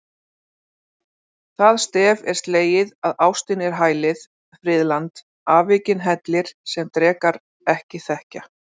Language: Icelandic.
Það stef er slegið að ástin er hælið, friðland, afvikinn hellir, sem drekar ekki þekkja.